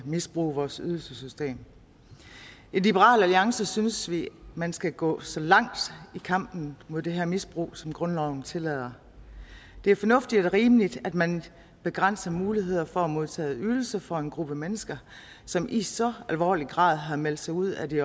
misbruge vores ydelsessystem i liberal alliance synes vi at man skal gå så langt i kampen mod det her misbrug som grundloven tillader det er fornuftigt og rimeligt at man begrænser muligheder for at modtage ydelser for en gruppe mennesker som i så alvorlig grad har meldt sig ud af det